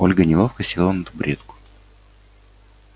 ольга неловко села на табуретку